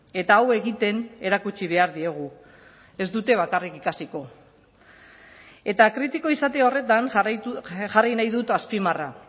eta hau egiten erakutsi behar diegu ez dute bakarrik ikasiko eta kritiko izate horretan jarri nahi dut azpimarra